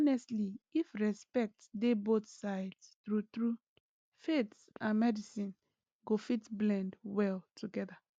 honestly if respect dey both sides true true faith and medicine go fit blend well together